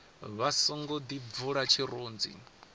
vha songo ḓi bvula tshirunzi